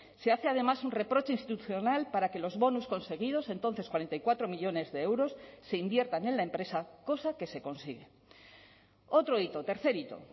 se hace además un reproche institucional para que los bonus conseguidos entonces cuarenta y cuatro millónes de euros se inviertan en la empresa cosa que se consigue otro hito tercer hito